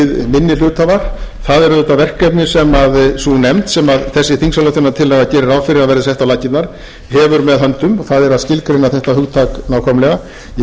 minni hluthafar það er auðvitað verkefni sem sú nefnd sem þessi þingsályktunartillaga gerir ráð fyrir að verði sett á laggirnar hefur með höndum það er að skilgreina þetta hugtak nákvæmlega ég hygg þó að